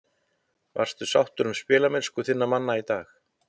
Varstu sáttur með spilamennsku þinna manna í dag?